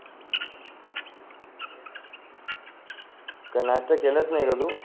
काय नाश्ता केलास नाय का तू